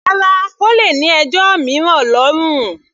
Rárá, O lè ní ẹjọ́ mìíràn lọ́rùn rẹ.